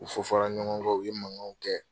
U fɔfɔra ɲɔgɔn kɔ u ye mankanw kɛ.